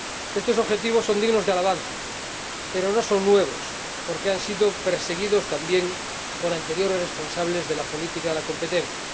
Estos objetivos son dignos de alabanza, pero no son nuevos porque han sido perseguidos también por anteriores responsables de la política de la competencia.